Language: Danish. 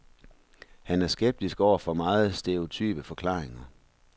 Han er skeptisk over for meget stereotype forklaringer.